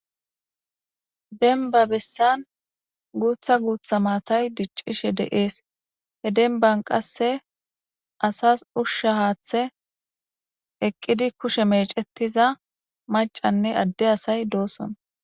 Demab besaan guta guta matayi dicishe dees je demban qassi .asasi usha hathay eqqidi kushe mecetiza asayi macane adde asayi dosona